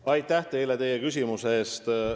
Aitäh teile küsimuse eest!